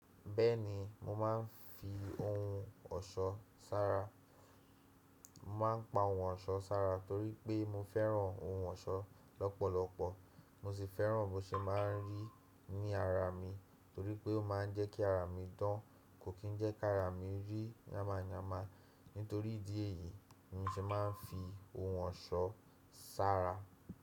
Bẹ́ẹ̀ni mo máa ń fi ohun ọ̀ṣọ́ sára. Mo máa ń pa ohun ọ̀ṣọ́ sára torí pé mo fẹ́ràn ohun ọ̀ṣọ́ lọ́pọ̀lọpọ̀ mo sì fẹ́ràn bó ṣe máa ń rí ní ara mi torí pé ó máa ń jẹ́ kí ara mi dán kò kí ń jẹ́ kí ara rí yáma yáma. Nítorí ìdí èyí ni mo ṣe máa ń fi ohun ọ̀ṣọ́ sára.